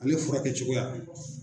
Ale furakɛ cogoya